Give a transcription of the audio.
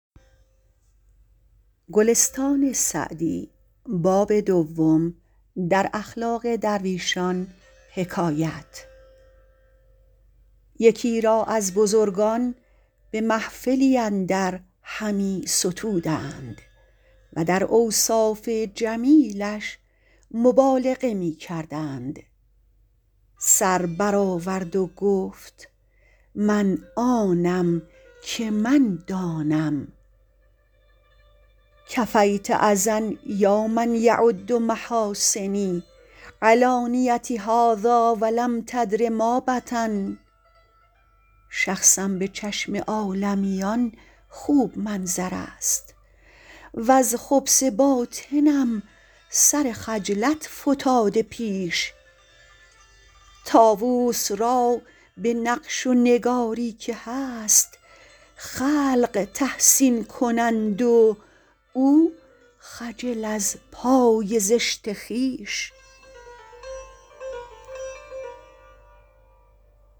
یکی را از بزرگان به محفلی اندر همی ستودند و در اوصاف جمیلش مبالغه می کردند سر بر آورد و گفت من آنم که من دانم کفیت اذی یا من یعد محاسنی علانیتی هذٰاٰ ولم تدر ما بطن شخصم به چشم عالمیان خوب منظر است وز خبث باطنم سر خجلت فتاده پیش طاووس را به نقش و نگاری که هست خلق تحسین کنند و او خجل از پای زشت خویش